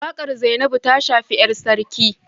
Wakar Zainabu ta shafi ‘yar sarki